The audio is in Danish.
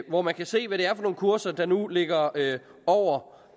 hvor man kan se hvad det er for nogle kurser der nu ligger over